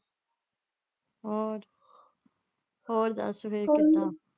ਹੋਰ ਗੱਲ . ਸੁਣਾ।